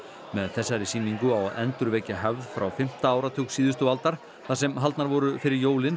með þessari sýningu á að endurvekja hefð frá fimmta áratug síðustu aldar þar sem haldnar voru fyrir jólin